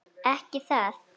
Ekki það.?